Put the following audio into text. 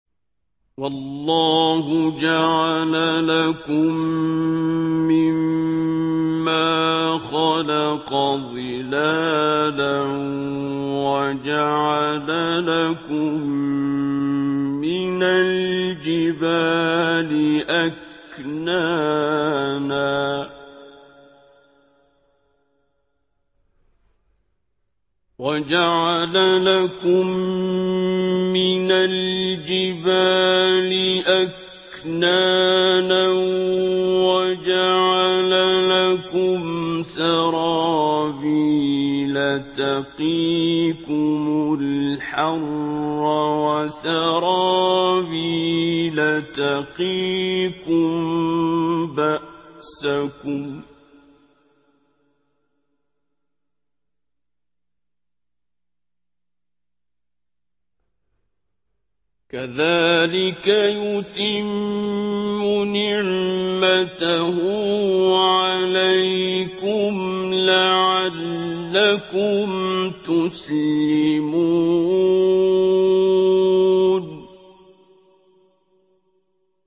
وَاللَّهُ جَعَلَ لَكُم مِّمَّا خَلَقَ ظِلَالًا وَجَعَلَ لَكُم مِّنَ الْجِبَالِ أَكْنَانًا وَجَعَلَ لَكُمْ سَرَابِيلَ تَقِيكُمُ الْحَرَّ وَسَرَابِيلَ تَقِيكُم بَأْسَكُمْ ۚ كَذَٰلِكَ يُتِمُّ نِعْمَتَهُ عَلَيْكُمْ لَعَلَّكُمْ تُسْلِمُونَ